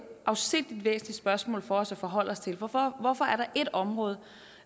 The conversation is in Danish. afsindig væsentligt spørgsmål for os at forholde os til hvorfor hvorfor er der ét område